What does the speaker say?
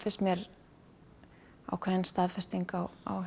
mér ákveðin staðfesting á á